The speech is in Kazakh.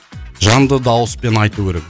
жанды дауыспен айту керек